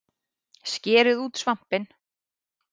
Skerið út svampinn